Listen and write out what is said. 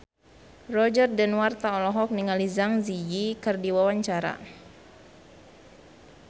Roger Danuarta olohok ningali Zang Zi Yi keur diwawancara